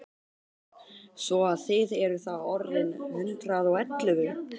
Svo að þið eruð þá orðin hundrað og ellefu!